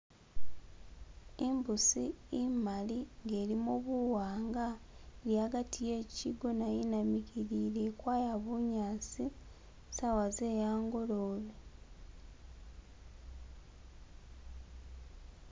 Imbusi imali nga ilimo buwanga ili hagati he chigona yinamikilile ili kwaya bunyasi sawa zehangolobe.